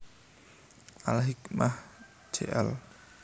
Al Hikmah Jl